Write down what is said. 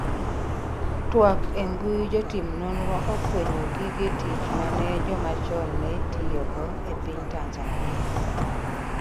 twak embui jotim nonro ofwenyo gige tich mane joma chon ne tiyo go e piny Tanzania